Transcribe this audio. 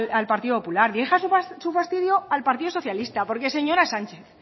al partido popular dirija su fastidio al partido socialista porque señora sánchez